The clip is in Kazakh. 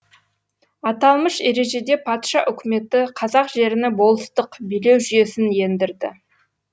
аталмыш ережеде патша үкіметі қазақ жеріне болыстық билеу жүйесін ендірді